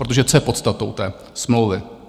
Protože co je podstatou té smlouvy?